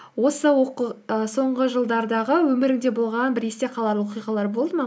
осы і соңғы жылдардағы өміріңде болған бір есте қалар оқиғалар болды ма